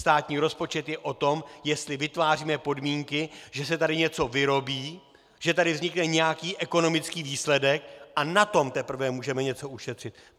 Státní rozpočet je o tom, jestli vytváříme podmínky, že se tady něco vyrobí, že tady vznikne nějaký ekonomický výsledek, a na tom teprve můžeme něco ušetřit.